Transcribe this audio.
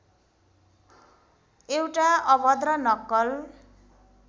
एउटा अभद्र नक्कल